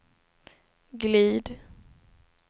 glid